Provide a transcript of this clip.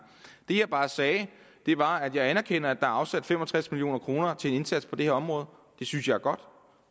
det jeg bare sagde var at jeg anerkender at er afsat fem og tres million kroner til en indsats på det her område det synes jeg er godt